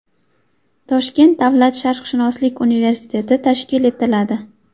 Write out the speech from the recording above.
Toshkent davlat sharqshunoslik universiteti tashkil etiladi.